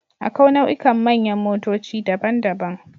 Akwai nau'ikan manyan motoci daban-daban.